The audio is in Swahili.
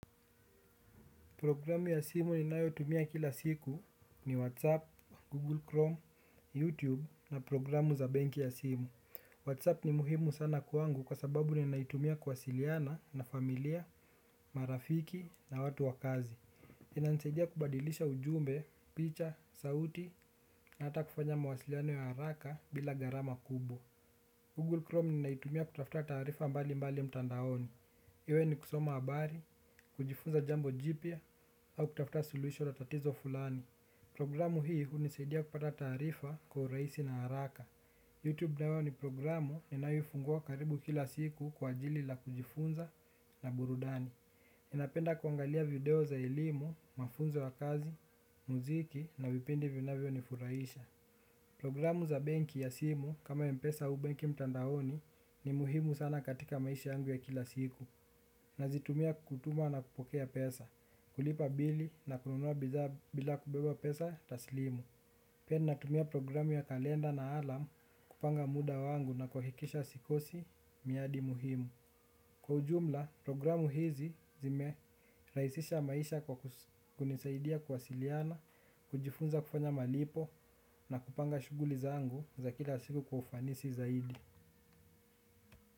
Programu ya simu ninayotumia kila siku ni Whatsapp, Google Chrome, YouTube na programu za benki ya simu. Whatsapp ni muhimu sana kwangu kwa sababu ninayotumia kwasiliana na familia, marafiki na watu wakazi. Inansaidia kubadilisha ujumbe, picha, sauti na hata kufanya mawasiliana ya haraka bila garama kubo. Google Chrome ninayotumia kutafuta tarifa mbali mbali mtandaoni. Iwe ni kusoma abari, kujifunza jambo jipya, au kutafuta suluhisho latatizo fulani. Programu hii unisaidia kupata tarifa kwa uraisi na haraka. Youtube nayo ni programu inayifungua karibu kila siku kwa ajili la kujifunza na burudani. Inapenda kuangalia video za elimu, mafunzo wa kazi, muziki na vipindi vinawewe ni furaisha. Programu za benki ya simu kama mpesa au banki mtandaoni ni muhimu sana katika maisha yangu ya kila siku. Nazitumia kutama no kupokea pesa kulipa bili na kunua bidhaa bila kubeba pesa taslimu. Pia natumia programu ya kalenda na alam kupanga muda wangu na kuhikisha sikosi miadi muhimu. Kwa ujumla, programu hizi zime raisisha maisha kwa kunisaidia kwa siliana, kujifunza kufanya malipo na kupanga shuguli zangu za kila siku kwa ufanisi zaidi.